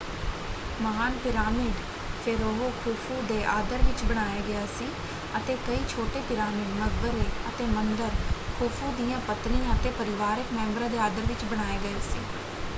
ਮਹਾਨ pyramid pharaoh Khufu ਦੇ ਆਦਰ ਵਿੱਚ ਬਣਾਇਆ ਗਿਆ ਸੀ ਅਤੇ ਕਈ ਛੋਟੇ ਪਿਰਾਮਿਡ ਮਕਬਰੇ, ਅਤੇ ਮੰਦਰ ਖ਼ੁਫ਼ੂ ਦੀਆਂ ਪਤਨੀਆਂ ਅਤੇ ਪਰਿਵਾਰਕ ਮੈਂਬਰਾਂ ਦੇ ਆਦਰ ਵਿੱਚ ਬਣਾਏ ਗਏ ਸੀ।